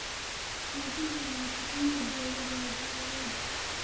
Xoojinta wada shaqaynta dawladda iyo beeralayda.